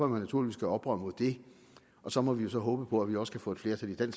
man naturligvis gøre oprør mod det og så må vi jo så håbe på at vi også kan få et flertal i den